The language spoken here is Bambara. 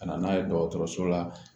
Ka na n'a ye dɔgɔtɔrɔso la